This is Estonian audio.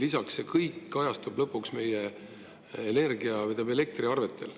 Lisaks kajastub see kõik lõpuks meie elektriarvetel.